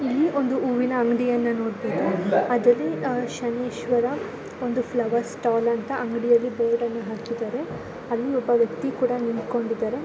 ಇಲ್ಲಿ ಒಂದು ಹೂವಿನ ಅಂಗಡಿಯನ್ನು ನೋಡಬಹುದು. ಅದು ಶನೀಶ್ವರ ಒಂದು ಫ್ಲವರ್ ಸ್ಟಾಲ್ ಅಂತ ಅಂಗಡಿಯಲ್ಲಿ ಬೋರ್ಡ್ನ್ ಹಾಕಿದಾರೆ ಅಲ್ಲಿ ಒಬ್ಬ ವ್ಯಕ್ತಿ ಕೂಡ ನಿಂತುಕೊಂಡಿದ್ದಾರೆ.